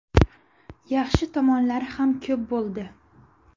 Yaxshi tomonlari ham ko‘p bo‘ldi.